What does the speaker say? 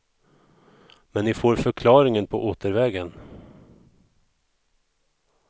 Men ni får förklaringen på återvägen.